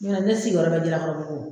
Ɲ'o tɛ ne sigilen bɛ Jalakɔrɔbugu.